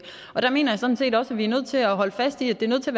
og der mener jeg sådan set også at vi er nødt til at holde fast i at det er nødt til